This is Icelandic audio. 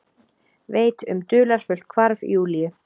Veit um dularfullt hvarf Júlíu.